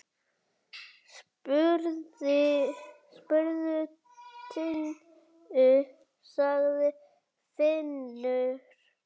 Spurðu Tinnu, sagði Finnur.